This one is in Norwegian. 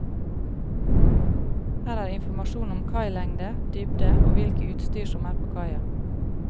Her er informasjon om kailengde, dybde og hvilke utstyr som er på kaia.